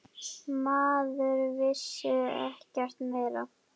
Maður vissi ekkert meira.